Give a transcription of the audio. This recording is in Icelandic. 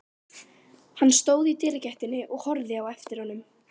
Hann stóð í dyragættinni og horfði á eftir honum.